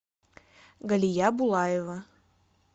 галия булаева